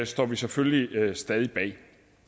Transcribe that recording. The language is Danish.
står vi selvfølgelig stadig bag